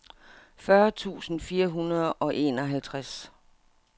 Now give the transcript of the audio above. fyrre tusind fire hundrede og enoghalvtreds